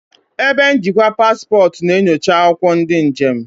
Ebe njikwa paspọtụ na-enyocha akwụkwọ ndị njem.